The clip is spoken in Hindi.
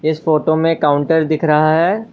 इस फोटो में काउंटर दिख रहा है।